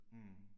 Mh